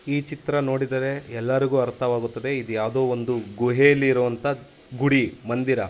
ಈ ಚಿತ್ರ ನೋಡಿದರೆ ಎಲ್ಲರಿಗೂ ಅರ್ಥವಾಗುತ್ತದೆ ಇದು ಯಾವುದೋ ಒಂದು ಗುಹೆಯಲ್ಲಿ ಇರುವಂತಹ ಗುಡಿ ಮಂದಿರ.